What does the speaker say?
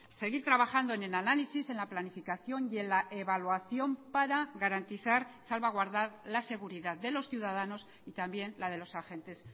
seguir trabajando en el análisis en la planificación y en la evaluación para garantizar salvaguardar la seguridad de los ciudadanos y también la de los agentes